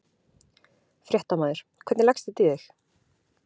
Fréttamaður: Hvernig leggst þetta í þig?